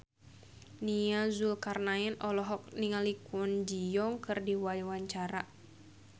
Nia Zulkarnaen olohok ningali Kwon Ji Yong keur diwawancara